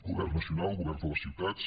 govern nacional governs de les ciutats